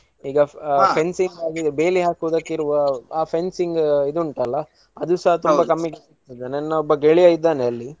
ಈಗ fencing ಬೇಲಿ ಹಾಕುದಕೆ ಇರುವ ಆ fencing ಇದು ಉಂಟಲ್ಲ ಅದುಸಾ ತುಂಬಾ ಕಮ್ಮಿಗೆ ಸಿಗ್ತದೆ ನನ್ನ ಒಬ್ಬ ಗೆಳೆಯ ಇದಾನೆ ಅಲ್ಲಿ.